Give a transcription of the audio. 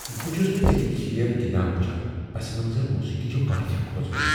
بہٕ چھس نہٕ ژےٚ یہ کھیل گنٛدان وُچھان۔ پس منظر موسیقی چھِ واریاہ كھوژوٕنۍ ۔